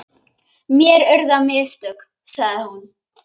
Mér urðu á mistök, sagði hún.